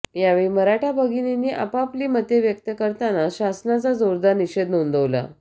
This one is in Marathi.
यावेळी मराठा भगिनींनी आपआपली मते व्यक्त करताना शासनाचा जोरदार निषेध नोंदवला